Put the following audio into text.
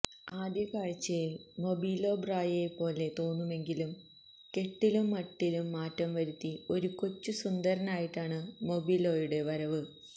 ആദ്യകാഴ്ചയില് Mobilio ബ്രയോയെപ്പോലെ തോന്നുമെങ്കിലും കെട്ടിലും മട്ടിലും മാറ്റം വരുത്തി ഒരു കൊച്ചു സുന്ദരനായിട്ടാണ് മൊബീലോയുടെ വരവ്